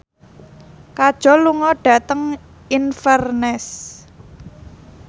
Kajol lunga dhateng Inverness